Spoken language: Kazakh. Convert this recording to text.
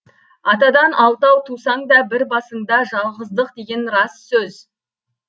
атадан алтау тусаң да бір басыңда жалғыздық деген рас сөз